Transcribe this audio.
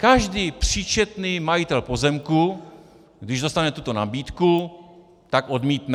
Každý příčetný majitel pozemku, když dostane tuto nabídku, tak odmítne.